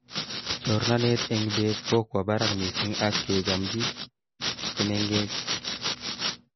Chornatet eng beet kokowa barak missing ak kechamchi che!mengech